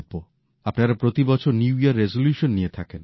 আপনারা প্রতিবছর নতুন বছরের রেসোলিউশনস নিয়ে থাকেন